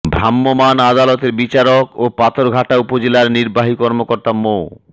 ভ্রাম্যমাণ আদালতের বিচারক ও পাথরঘাটা উপজেলার নির্বাহী কর্মকর্তা মো